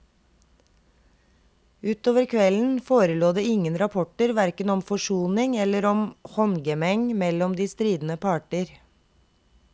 Utover kvelden forelå det ingen rapporter hverken om forsoning eller om håndgemeng mellom de stridende parter.